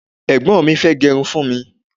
egbon mi fee gerun fún mi